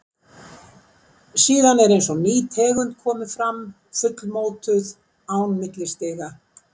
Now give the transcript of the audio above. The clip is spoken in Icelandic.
Síðan er eins og ný tegund komi fram, fullmótuð, án millistiga.